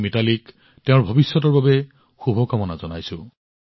মই মিতালীক তেওঁৰ ভৱিষ্যতৰ বাবে শুভকামনা জনাইছো